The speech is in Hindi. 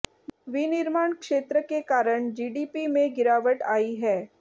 विनिर्माण क्षेत्र के कारण जीडीपी में गिरावट आयी है